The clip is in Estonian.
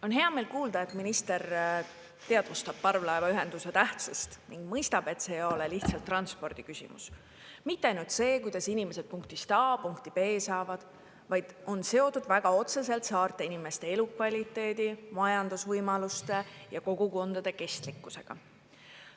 On heameel kuulda, et minister teadvustab parvlaevaühenduse tähtsust ning mõistab, et see ei ole lihtsalt transpordi küsimus, mitte ainult see, kuidas inimesed punktist A punkti B saavad, vaid on seotud väga otseselt saarte inimeste elukvaliteedi, majandusvõimaluste ja kogukondade kestlikkusega.